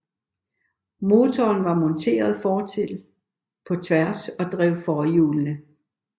Motoren var monteret fortil på tværs og drev forhjulene